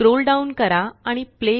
scroll down करा आणि play